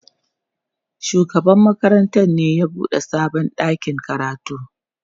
shugaban makarantar ne ya buɗe sabon ɗakin karatun.